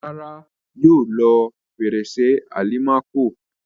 Rárá, yóò lo fèrèsé àlìmákò.